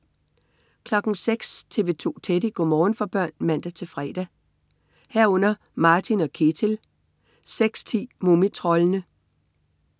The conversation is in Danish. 06.00 TV 2 Teddy. Go' morgen for børn (man-fre) 06.00 Martin og Ketil (man-fre) 06.10 Mumitroldene (man-fre)